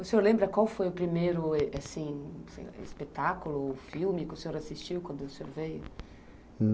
O senhor lembra qual foi o primeiro assim espetáculo ou filme que o senhor assistiu quando veio?